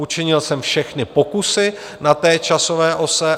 Učinil jsem všechny pokusy na té časové ose.